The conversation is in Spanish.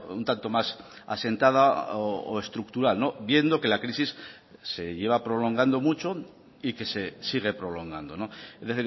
un tanto más asentada o estructural viendo que la crisis se lleva prolongando mucho y que se sigue prolongando es